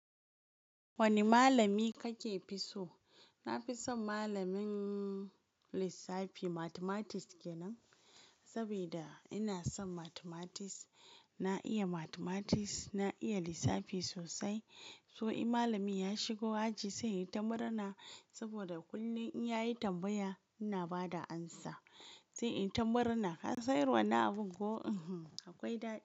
Wane malami kake fi so? Na fi son malamin lissafi mathematics ke nan. Saboda ina son mathematics, na iya mathematics, na iya lissafi sosai. To in malami ya shigo aji sai inyi ta murna, saboda kullum in ya yi tambaya ina ba da amsa. Sai in ta murna, "kasan irin wa nan abin ko akwai dada?"